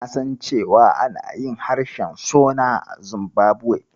Na san cewa ana yin harshen Shona a Zimbabwe.